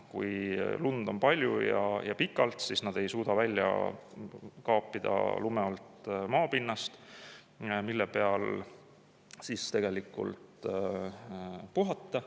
Kui lund on palju ja pikalt, siis nad ei suuda välja kaapida lume alt maapinda, mille peal puhata.